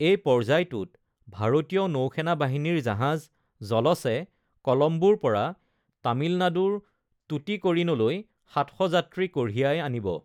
এই পৰ্যায়টোত ভাৰতীয় নৌসেনা বাহিনীৰ জাহাজ জলছে কলম্বোৰ পৰা তামিলনাডুৰ টুটিকৰিণলৈ ৭০০ যাত্ৰী কঢ়িয়াই আনিব।